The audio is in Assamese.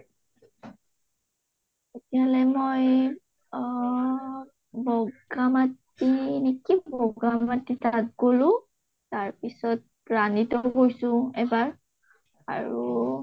এতিয়ালৈ মই অহ নেকি তাত গলো, তাৰ পিছত গৈছো এবাৰ আৰু